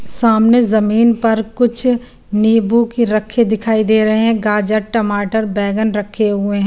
सामने जमीन पर कुछ नीबू के रखे दिखाई दे रहे है गाजर टमाटर बेगन रखे हुए है।